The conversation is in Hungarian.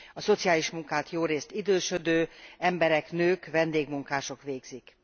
A szociális munkát jórészt idősödő emberek, nők, vendégmunkások végzik.